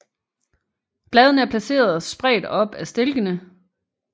Bladene er placeret spredt op ad stilkene